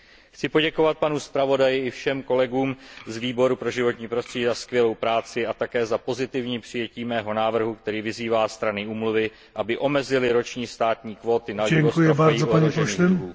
Chci poděkovat panu zpravodaji i všem kolegům z Výboru pro životní prostředí za skvělou práci a také za pozitivní přijetí mého návrhu, který vyzývá strany úmluvy, aby omezily roční státní kvóty na vývoz trofejí ohrožených druhů.